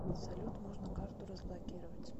салют можно карту разблокировать